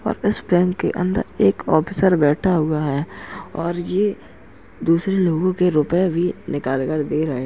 और इस बैंक के अंदर एक आफिसर बैठा हुआ है और ये दूसरे लोगों के रुपये भी निकाल कर दे रहा हैं।